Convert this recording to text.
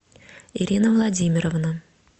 ирина владимировна